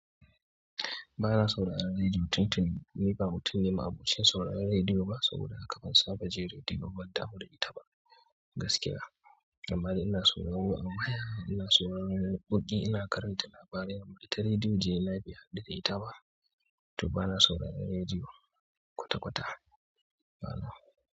Ba na so ra'an rediyo tun tuni, ni ba mutumin ma'abocin so ra'an rediyo ba saboda haka ban saba ji rediyo babban damo da ita ba gaskiya. Amma ina so na wurwa ama ina so na bugi ina karanta labarai amma ita rediyo jiya lafiya da ita ba. To ba na so ra'an rediyo kwata-kwata ba na.